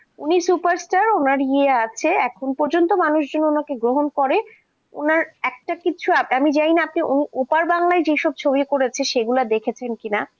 উনি superstar তো উনার ইয়ে আছে, প্রচন্ড মানুষজন ওনাকে গ্রহণ করে, ওনার একটা কিছু আমি জানিনা আপনি ওপার বাংলায়যে সব ছবি করেছে সেগুলো আপনি দেখেছেন কিনা! নবাব বলে একটা সিনেমা আছে